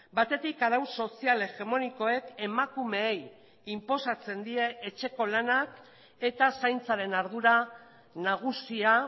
batetik arau sozial hegemonikoek emakumeei inposatzen die etxeko lanak eta zaintzaren ardura nagusia